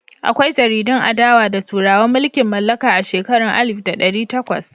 Akwai jaridun adawa da turawan mulkin mallaka a shekarun alif da ɗari takwas.